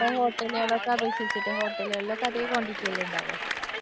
hotel കളെ ഒക്കെ അപേക്ഷിച്ചിട്ട്‌, hotel കളിലൊക്കെ അതെ quantity അല്ലേ ഉണ്ടാവാ.